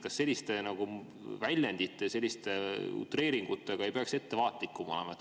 Kas selliste väljenditega, selliste utreeringutega ei peaks ettevaatlikum olema?